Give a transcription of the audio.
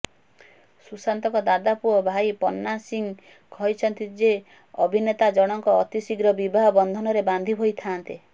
ସୁଶାନ୍ତଙ୍କ ଦାଦା ପୁଅ ଭାଇ ପନ୍ନା ସିଂ କହିଛନ୍ତି ଯେ ଅଭିନେତାଜଣଙ୍କ ଅତିଶୀଘ୍ର ବିବାହ ବନ୍ଧନରେ ବାନ୍ଧି ହୋଇଥାନ୍ତେ